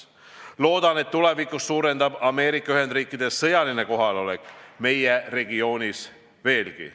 Loodan, et tulevikus suureneb ka Ameerika Ühendriikide sõjaline kohalolek meie regioonis veelgi.